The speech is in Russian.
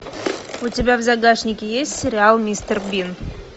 у тебя в загашнике есть сериал мистер бин